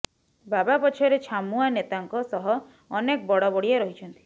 ବାବା ପଛରେ ଛାମୁଆଁ ନେତାଙ୍କ ସହ ଅନେକ ବଡ଼ବଡ଼ିଆ ରହିଛନ୍ତି